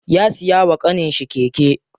Ya siya wa ƙaninshi keke.